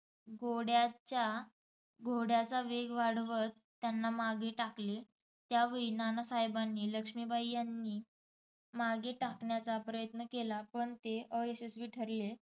घोड्याच्या घोड्याचा वेग वाढवत त्यांना मागे टाकले. त्यावेळी नानासाहेबांनी लक्ष्मीबाई यांनी मागे ठाकण्याचा प्रयत्न केला पण ते अयशस्वी ठरले.